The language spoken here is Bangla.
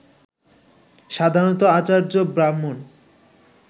সাধারণত আচার্য-ব্রাহ্মণ